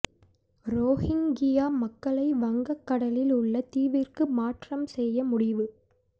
Rohingya மக்களை வங்கக் கடலில் உள்ள தீவிற்கு மாற்றம் செய்ய முடிவு